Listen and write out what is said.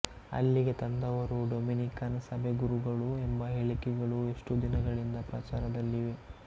ಅಲ್ಲಿಗೆ ತಂದವರು ಡೊಮಿನಿಕನ್ ಸಭೆಗುರುಗಳು ಎಂಭ ಹೇಳಿಕೆಗಳು ಎಷ್ಟೋ ದಿನಗಳಿಂದ ಪ್ರಚಾರದಲ್ಲಿವೆ